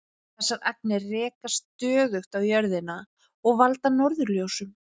Þessar agnir rekast stöðugt á jörðina og valda norðurljósum.